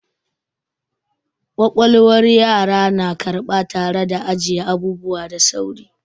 Ƙwaƙwalwar yara na karɓa tare da ajiye abubuwa da sauri.